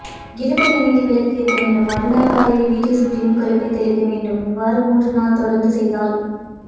இலுப்பை என்னையில் விளக்குஏத்தவேண்டும் மருநாள் காலையில் வீட்டைசுத்தியும் கல்லுப்பை தெளிக்க வேண்டும் இவ்வறு மூன்று நாள்தொடர்ந்து செய்தால்